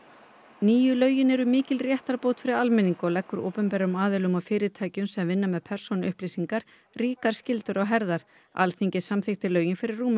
nýju lögin eru mikil réttarbót fyrir almenning og leggur opinberum aðilum og fyrirtækjum sem vinna með persónuupplýsingar ríkar skyldur á herðar Alþingi samþykkti lögin fyrir rúmum